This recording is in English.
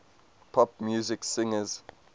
pop music singers